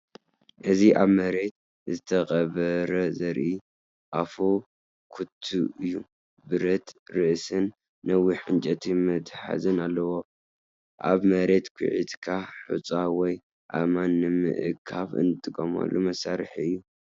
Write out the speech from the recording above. እዚ ኣብ መሬት ዝተቐብረ ዘርኢ ኣፍ ኩቱ እዩ። ብረት ርእስን ነዊሕ ዕንጨይቲ መትሓዚን ኣለዎ። ኣብ መሬት ኲዒትካ ሑጻ ወይ ኣእማን ንምእካብ ዝጥቀመሉ መሳርሒ እዩ።